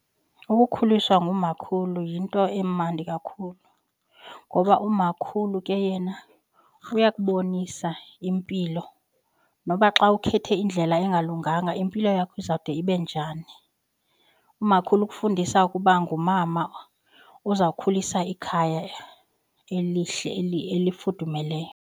Ukukhuliswa ngumakhulu yinto emandi kakhulu ngoba umakhulu ke yena uyakubonisa impilo noba xa ukhethe indlela engalunganga impilo yakho izawude ibe njani. Umakhulu ukufundisa ukuba ngumama uzokhulisa ikhaya elihle eli elifudumeleyo.